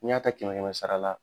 Ni y'a ta kɛmɛ kɛmɛ sara la.